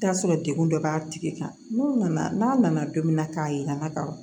I bi taa sɔrɔ degun dɔ b'a tigi kan n'o nana n'a nana don min na k'a yira n na ka fɔ